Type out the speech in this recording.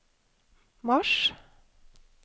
mars